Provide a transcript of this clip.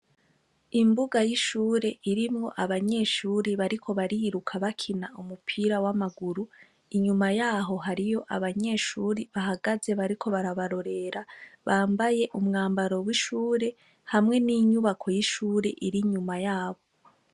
Imbuga y' ishure irimwo abanyeshure bariko bariruka bakina umupira w' amaguru inyuma yaho hariyo abanyeshure bahagaze bariko barabarorera bambaye umwambaro w' ishure hamwe n' inyubako y' ishuri iri inyuma yabo.